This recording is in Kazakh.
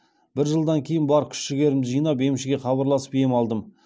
бір жылдан кейін бар күш жігерімді жинап емшіге хабарласып ем алдым